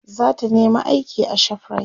zata nema aiki a shoprite